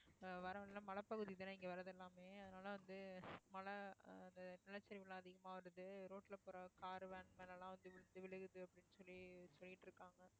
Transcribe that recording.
அஹ் வர்ற வழியில எல்லாம் மலைப்பகுதி தான் இங்க வர்றது எல்லாமே அதனால வந்து மழை அந்த நிலச்சரிவு எல்லாம் அதிகமா வருது road ல போற car van மேல எல்லாம் வந்து விழுந்து விழுகுது அப்படின்னு சொல்லி சொல்லிட்டு இருக்காங்க